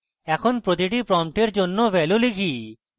এখন প্রতিটি প্রম্পটের জন্য ভ্যালু লিখি